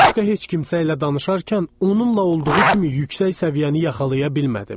Başqa heç kimsə ilə danışarkən onunla olduğu kimi yüksək səviyyəni yaxalaya bilmədim.